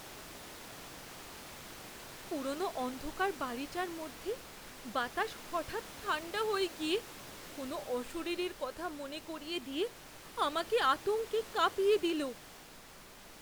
পুরনো অন্ধকার বাড়িটার মধ্যে বাতাস হঠাৎ ঠাণ্ডা হয়ে গিয়ে কোনো অশরীরীর কথা মনে করিয়ে দিয়ে আমাকে আতঙ্কে কাঁপিয়ে দিল।